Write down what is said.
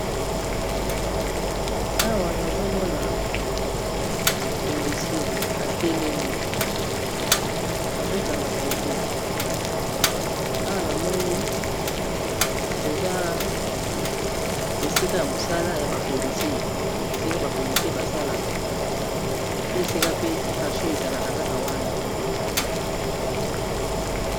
awa nazomona polisie atelemi azokanga foto awa namoni eza esika ya mosala ya bapolisie esika bapolisie basalaka nde esika pe kasho ezalaka kaka wana